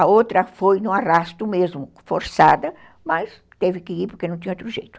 A outra foi no arrasto mesmo, forçada, mas teve que ir porque não tinha outro jeito.